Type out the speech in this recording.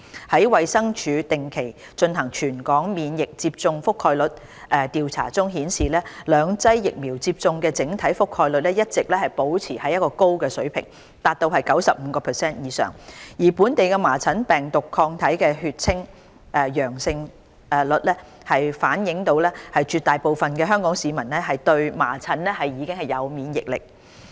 在衞生署定期進行全港免疫接種覆蓋調查中顯示，兩劑疫苗接種的整體覆蓋率一直保持在高水平，達到 95% 以上，而本地麻疹病毒抗體的血清陽性率反映絕大部分香港市民對麻疹已有免疫力。